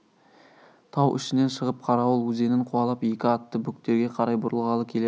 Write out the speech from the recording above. тау ішінен шығып қарауыл өзенін қуалап екі атты бөктерге қарай бұрылғалы келеді